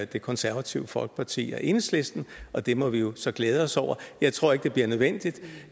det konservative folkeparti og enhedslisten og det må vi jo så glæde os over jeg tror ikke det bliver nødvendigt